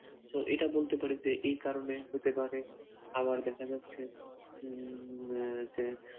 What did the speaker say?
so এটা বলতে পারি যে এই কারণে হতে পারে আবার দেখা যাচ্ছে উম আহ যে